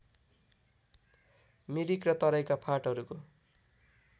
मिरिक र तराइका फाँटहरूको